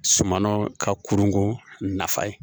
Sumanw ka kurunko nafa ye